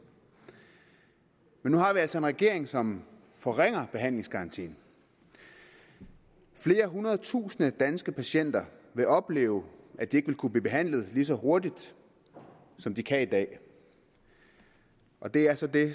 men nu har vi altså en regering som forringer behandlingsgarantien flere hundrede tusinde danske patienter vil opleve at de ikke vil kunne blive behandlet lige så hurtigt som de kan i dag og det er så det